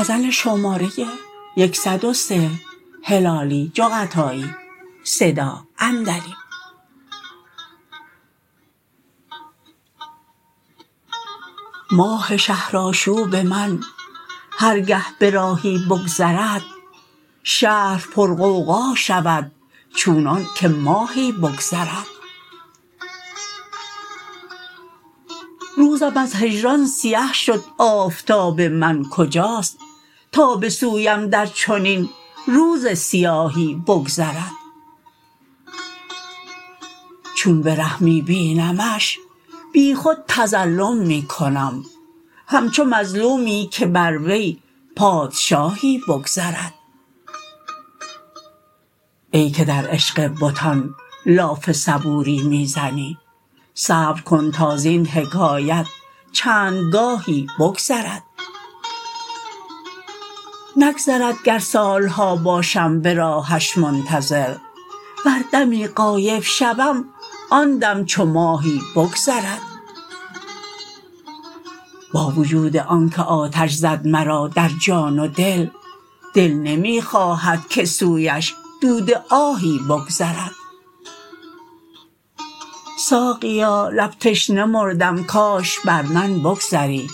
ماه شهرآشوب من هر گه به راهی بگذرد شهر پر غوغا شود چونان که ماهی بگذرد روزم از هجران سیه شد آفتاب من کجاست تا به سویم در چنین روز سیاهی بگذرد چون به ره می بینمش بیخود تظلم می کنم همچو مظلومی که بر وی پادشاهی بگذرد ای که در عشق بتان لاف صبوری می زنی صبر کن تا زین حکایت چند گاهی بگذرد نگذرد گر سالها باشم به راهش منتظر ور دمی غایب شوم آن دم چو ماهی بگذرد با وجود آنکه آتش زد مرا در جان و دل دل نمی خواهد که سویش دود آهی بگذرد ساقیا لب تشنه مردم کاش بر من بگذری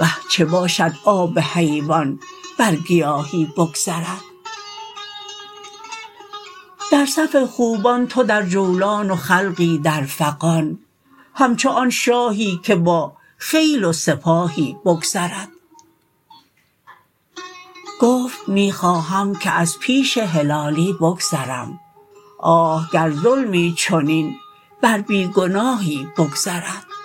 وه چه باشد آب حیوان بر گیاهی بگذرد در صف خوبان تو در جولان و خلقی در فغان همچو آن شاهی که با خیل و سپاهی بگذرد گفت می خواهم که از پیش هلالی بگذرم آه گر ظلمی چنین بر بی گناهی بگذرد